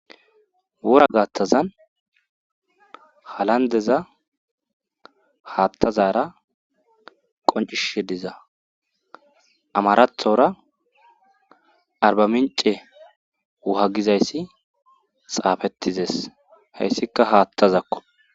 wora gaattazan halandeza haattazara qoncishi diza amarathora arbamince wuha gizayssi xaafettizes hayssikka haattazakko